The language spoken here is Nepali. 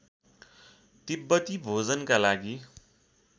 तिब्‍बती भोजनका लागि